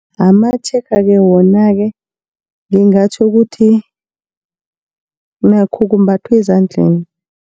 Amatshega-ke wona-ke ngingatjho ukuthi nakho kumbathwa ezandleni.